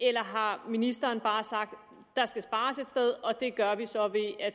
eller har ministeren bare sagt der skal spares et sted og det gør vi så